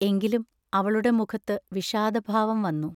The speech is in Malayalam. എങ്കിലും അവളുടെ മുഖത്തു വിഷാദഭാവം വന്നു.